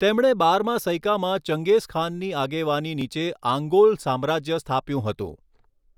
તેમણે બારમા સૈકામાં ચંગેઝખાનની આગેવાની નીચે આંગોલ સામ્રાજ્ય સ્થાપ્યું હતું.